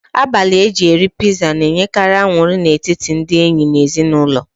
Abalị eji eri piza na-enyekari aṅụrị n'etiti ndị enyi na ezinụlọ